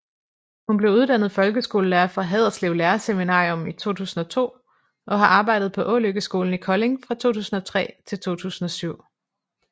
Hun blev uddannet folkeskolelærer fra Haderslev Lærerseminarium i 2002 og har arbejdet på Ålykkeskolen i Kolding fra 2003 til 2007